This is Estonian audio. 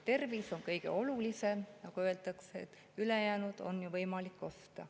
Tervis on kõige olulisem, sest nagu öeldakse, ülejäänut on ju võimalik osta.